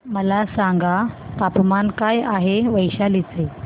मला सांगा तापमान काय आहे वैशाली चे